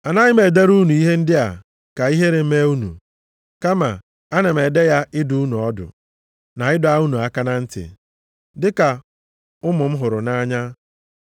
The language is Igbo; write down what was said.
Anaghị m edere unu ihe ndị a ka ihere mee unu, kama ana m ede ya ịdụ unu ọdụ, na ịdọ unu aka na ntị, dịka ụmụ m hụrụ nʼanya.